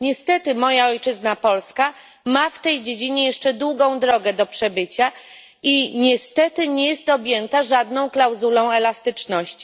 Jednak moja ojczyzna, Polska ma w tej dziedzinie jeszcze długą drogę do przebycia i niestety nie jest objęta żadną klauzulą elastyczności.